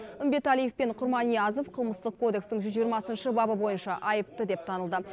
үмбеталиев пен құрманиязов қылмыстық кодекстің жүз жиырмасыншы бабы бойынша айыпты деп танылды